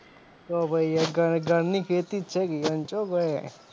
તો ભય ઘ ઘરની ખેતી છે